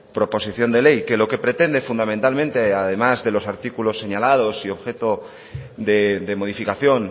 proposición de ley que lo que pretende fundamentalmente además de los artículos señalados y objeto de modificación